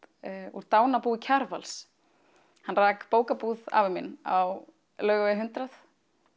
úr dánarbúi Kjarvals hann rak bókabúð afi minn á Laugavegi hundrað